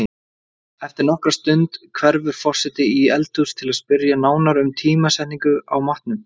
Eftir nokkra stund hverfur forseti í eldhús til að spyrja nánar um tímasetningu á matnum.